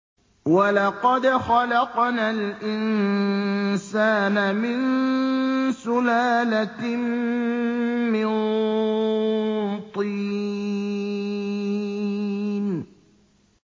وَلَقَدْ خَلَقْنَا الْإِنسَانَ مِن سُلَالَةٍ مِّن طِينٍ